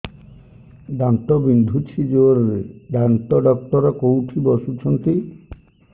ଦାନ୍ତ ବିନ୍ଧୁଛି ଜୋରରେ ଦାନ୍ତ ଡକ୍ଟର କୋଉଠି ବସୁଛନ୍ତି